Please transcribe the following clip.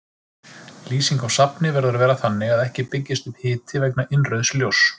Lýsing á safni verður að vera þannig að ekki byggist upp hiti vegna innrauðs ljóss.